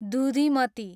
दुधिमती